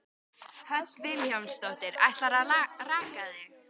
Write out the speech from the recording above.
Hödd Vilhjálmsdóttir: Ætlarðu að raka þig?